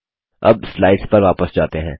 अब स्लाइड्स पर वापस जाते हैं